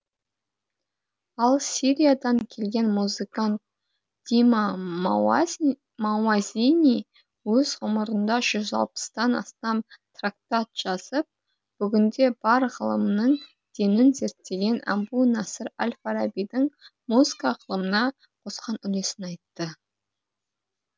ал сириядан келген музыкант дима мауазини өз ғұмырында жүз алпыстан астам трактат жазып бүгінде бар ғылымның денін зерттеген әбу насыр әл фарабидің музыка ғылымына қосқан үлесін айтты